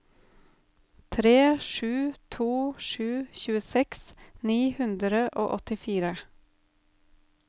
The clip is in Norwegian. tre sju to sju tjueseks ni hundre og åttifire